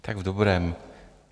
Tak v dobrém.